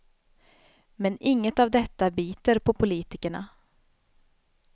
Men inget av detta biter på politikerna.